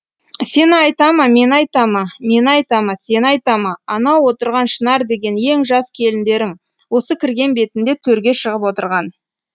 сені айта ма мені айта ма мені айта ма сені айта ма анау отырған шынар деген ең жас келіндерің осы кірген бетінде төрге шығып отырған